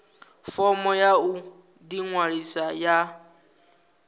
fomo ya u ḓiṅwalisa ya